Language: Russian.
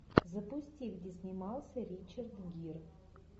запусти где снимался ричард гир